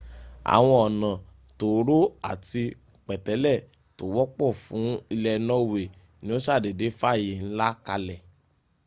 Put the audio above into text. àwọn ọ̀nà tóóró àti pẹ̀tẹ́lẹ̀ tó wọ́pọ̀ fún ilẹ̀ norway ni ó sàdédé fààyè ńlá kalẹ̀